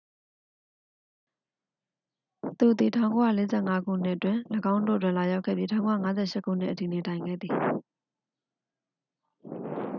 သူသည် 1945 ခုနှစ်တွင် ၎င်းတို့တွင် လာရောက်ခဲ့ပြီး 1958 ခုနှစ်အထိ နေထိုင်ခဲ့သည်